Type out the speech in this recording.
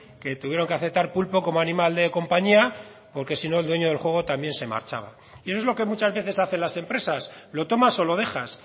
que tuvieron que aceptar pulpo como animal de compañía porque si no el dueño del juego también se marchaba y eso es lo que muchas veces hacen las empresas lo tomas o lo dejas